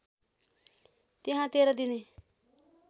त्यहाँ १३ दिने